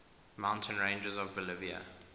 mountain ranges of bolivia